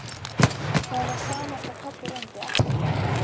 Það var sama hvað Kobbi reyndi, ekkert gekk.